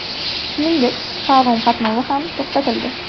Shuningdek, parom qatnovi ham to‘xtatildi.